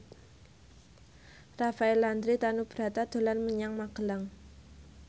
Rafael Landry Tanubrata dolan menyang Magelang